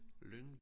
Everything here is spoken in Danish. Lyng